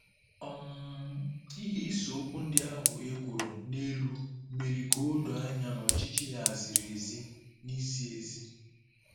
um Ihe iseokwu ndị ahụ e kwuru n'elu mere ka o doo anya na ọchịchị ya ziri ezi na izi ezi.